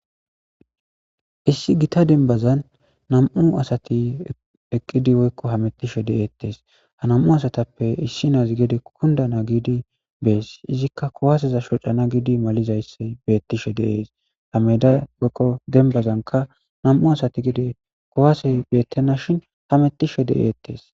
Issi gita denbazan nam'u asati eqqidi woykko hamettishe deeettees ha nam'u asatappe issi naazi gede kunda na giidi bees izikka kowaaseza shocana giidi malizayssey beettishe deees hameda woykko denbazanka nam'u asati gede kowaase beettena shin hamettishe de'eettees.